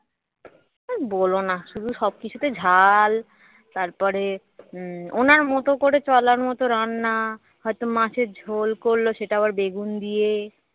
আর বলো না শুধু সব কিছুতে ঝাল তারপরে উম ওনার মতো করে চলার মতো রান্না হয়ত মাছের ঝোল করলো সেটা আবার বেগুন দিয়ে